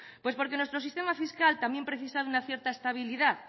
pues porque nuestro sistema fiscal también precisa de una cierta estabilidad